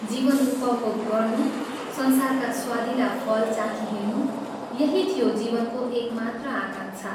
जीवन उपभोग गर्नु संसारका स्वादिला फल चाखी हिंड्नु, यही थियो जीवनको एकमात्र आकांक्षा।